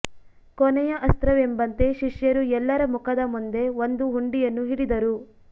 ಕೊನೆಯ ಅಸ್ತ್ರವೆಂಬಂತೆ ಶಿಷ್ಯರು ಎಲ್ಲರ ಮುಖದ ಮುಂದೆ ಒಂದು ಹುಂಡಿಯನ್ನು ಹಿಡಿದರು